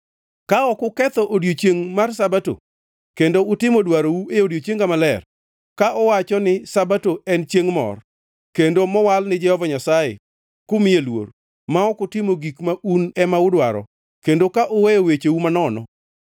“Ka ok uketho odiechiengʼ mar Sabato, kendo utimo dwarou e odiechienga maler, ka uwacho ni Sabato en chiengʼ mor, kendo mowal ni Jehova Nyasaye kumiye luor, ma ok utimo gik ma un ema udwaro, kendo ka uweyo wecheu manono,